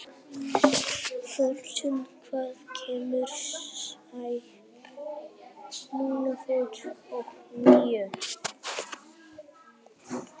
Flórent, hvenær kemur strætó númer fjörutíu og níu?